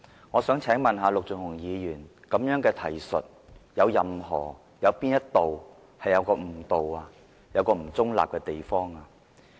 "我想請問陸頌雄議員，這樣的提述有哪個地方誤導、不中立？